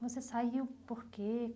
Você saiu por quê?